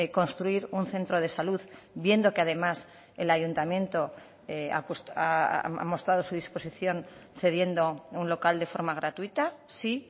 construir un centro de salud viendo que además el ayuntamiento ha mostrado su disposición cediendo un local de forma gratuita sí